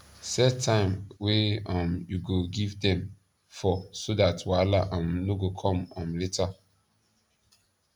set time wa um u go give dem for so dat wahala um no go come um later